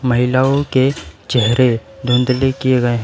महिलाओं के चेहरे धुंधले किए गए हैं।